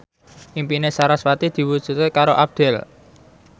impine sarasvati diwujudke karo Abdel